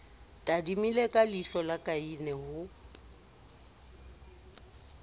tadimile ka leihlola kaine ho